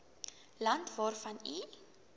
land waarvan u